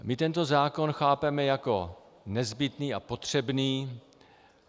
My tento zákon chápeme jako nezbytný a potřebný.